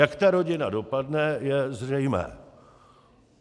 Jak ta rodina dopadne, je zřejmé.